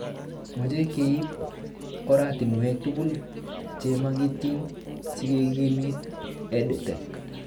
Mache keip oratinwek tugul che makatin sikekimit EdTech